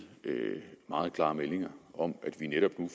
meget klare meldinger om at vi netop nu